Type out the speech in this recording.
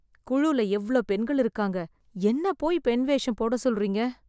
குழுல எவ்ளோ பெண்கள் இருக்காங்க, என்னப் போய் பெண் வேஷம் போட சொல்றீங்க.